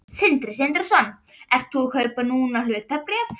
Sindri Sindrason: Ert þú að kaupa núna hlutabréf?